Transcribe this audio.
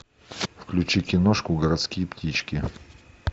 включи киношку городские птички